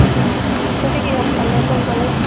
ভাস্ৱাতি কিহত পালে কোন college